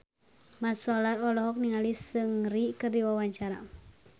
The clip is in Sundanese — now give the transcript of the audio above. Mat Solar olohok ningali Seungri keur diwawancara